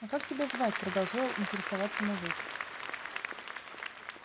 а как тебя звать продолжал интересоваться мужик